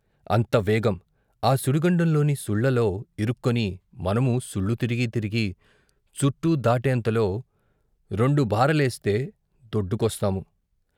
అంత వేగం, ఆ సుడిగుండంలోని సుళ్ళలో ఇరుక్కొని మనమూ సుళ్ళు తిరిగి తిరిగి చుట్టూదాటేంతలో రెండుబారలేస్తే దొడ్డుకొస్తాము.